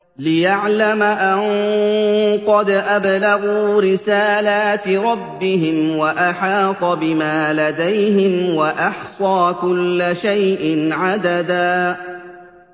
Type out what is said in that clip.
لِّيَعْلَمَ أَن قَدْ أَبْلَغُوا رِسَالَاتِ رَبِّهِمْ وَأَحَاطَ بِمَا لَدَيْهِمْ وَأَحْصَىٰ كُلَّ شَيْءٍ عَدَدًا